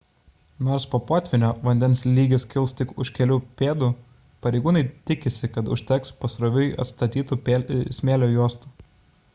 nors po potvynio vandens lygis kils tik už kelių pėdų pareigūnai tikisi kad užteks pasroviui atstatytų smėlio juostų